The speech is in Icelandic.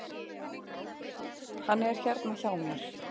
Hann er hérna hjá mér.